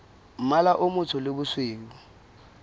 mmala o motsho le bosweu